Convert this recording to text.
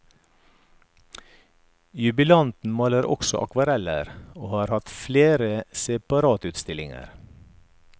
Jubilanten maler også akvareller, og har hatt flere separatutstillinger.